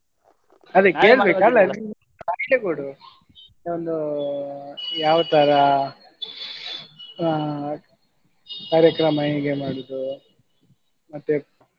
idea ಕೊಡು ಒಂದು ಯಾವ ತರಾ ಹಾ ಕಾರ್ಯಕ್ರಮ ಹೇಗೆ ಮಾಡುದು ಮತ್ತೆ?